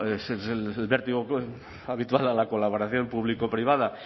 ese es el vértigo habitual a la colaboración público privada